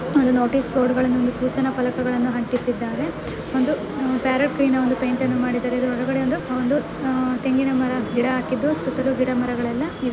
ಒಂದು notice board ಒಂದು ಸೂಚನ ಪಲಕಗಳನ್ನು ಅಂಟಿಸಿದ್ದಾರೆ ಒಂದು ಪ್ಯಾರಟ್ ಗ್ರೀನ್ ಒಂದು ಪೇಯಿಂಟ್ಅನ್ನು ಮಾಡಿದ್ದಾರೆ ಹೊಳಗಡೆ ಒಂದು ಒಂದು ಉ ತೆಂಗಿನ ಮರ ಗಿಡ ಹಾಗಿದ್ದು ಸುತ್ತಲು ಗಿಡ ಮರಗಳೆಲ್ಲ ಇವೆ.